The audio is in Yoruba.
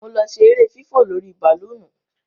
Mo lọ ṣe ere fífò lórí bàlóònù.